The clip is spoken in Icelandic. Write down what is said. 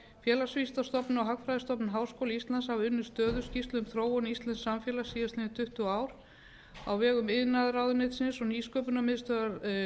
félagsvísindastofnun og hagfræðistofnun háskóla íslands hafa unnið stöðuskýrslu um þróun íslensks samfélags síðustu tuttugu árin á vegum iðnaðarráðuneytisins og nýsköpunarmiðstöðvar